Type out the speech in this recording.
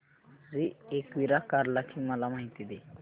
श्री एकविरा कार्ला ची मला माहिती दे